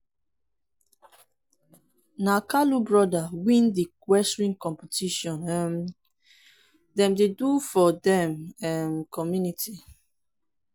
na kalu broda win the wrestling competition um dem do for dem um community